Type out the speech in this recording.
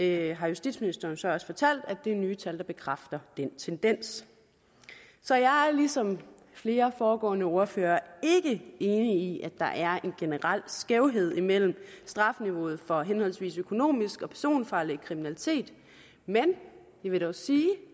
det har justitsministeren så også fortalt nemlig at de nye tal bekræfter den tendens så jeg er ligesom flere foregående ordførere ikke enig i at der er en generel skævhed mellem strafniveauet for henholdsvis økonomisk og personfarlig kriminalitet men jeg vil dog sige